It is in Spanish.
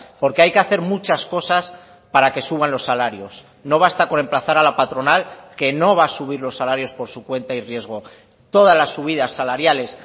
porque hay que hacer muchas cosas para que suban los salarios no basta con emplazar a la patronal que no va a subir los salarios por su cuenta y riesgo todas las subidas salariales